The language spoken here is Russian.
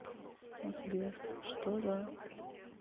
сбер что за